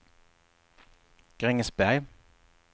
Grängesberg